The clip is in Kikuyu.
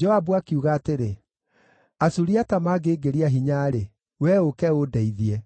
Joabu akiuga atĩrĩ, “Asuriata mangĩngĩria hinya-rĩ, wee ũũke ũndeithie;